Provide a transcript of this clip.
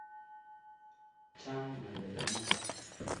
Chang' ng'alek iman